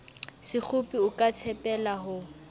sekgopi o ka tshepela ho